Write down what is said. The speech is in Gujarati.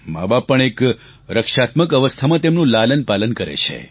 માબાપ પણ એક રક્ષાત્મક અવસ્થામાં તેમનું લાલનપાલન કરે છે